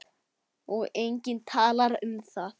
Og enginn talar um það!